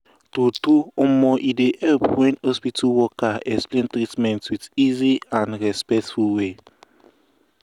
true true e um dey help wen hospital um worker explain treatment with easy and respectful way.